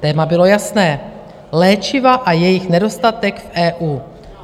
Téma bylo jasné, léčiva a jejich nedostatek v EU.